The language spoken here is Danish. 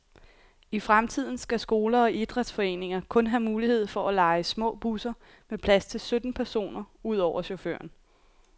I fremtiden skal skoler og idrætsforeninger kun have mulighed for at leje små busser med plads til sytten personer, udover chaufføren.